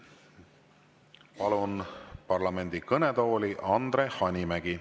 Palun parlamendi kõnetooli Andre Hanimägi.